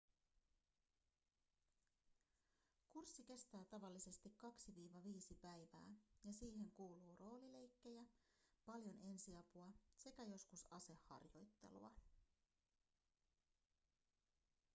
kurssi kestää tavallisesti 2-5 päivää ja siihen kuuluu roolileikkejä paljon ensiapua sekä joskus aseharjoittelua